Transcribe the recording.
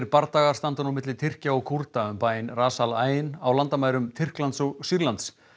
bardagar standa nú milli Tyrkja og Kúrda um bæinn Ras al Ain á landamærum Tyrklands og Sýrlands